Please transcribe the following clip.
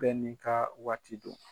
Bɛ ni ka waati don.